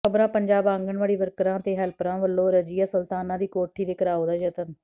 ਖ਼ਬਰਾਂ ਪੰਜਾਬ ਆਂਗਨਵਾੜੀ ਵਰਕਰਾਂ ਤੇ ਹੈਲਪਰਾਂ ਵਲੋਂ ਰਜ਼ੀਆ ਸੁਲਤਾਨਾ ਦੀ ਕੋਠੀ ਦੇ ਘਿਰਾਉ ਦਾ ਯਤਨ